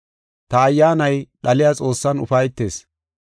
ta Ayyaanay dhaliya Xoossan ufaytees.